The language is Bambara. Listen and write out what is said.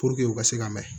u ka se ka mɛn